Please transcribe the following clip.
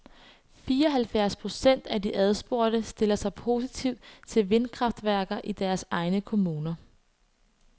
Fireoghalvfjerds procent af de adspurgte stiller sig positivt til vindkraftværker i deres egne kommuner.